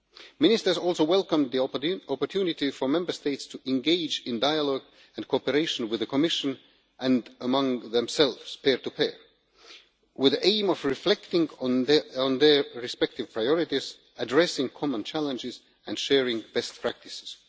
Ministers also welcomed the opportunity for Member States to engage in dialogue and cooperation with the Commission and among themselves, peer to peer, with the aim of reflecting on their respective priorities, addressing common challenges and sharing best practices.